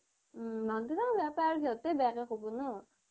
ওম মাক দেউতাকে বেয়া পায় আৰু সিহঁতেইও বেয়াকে ক'ব ন'